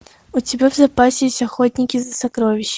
у тебя в запасе есть охотники за сокровищами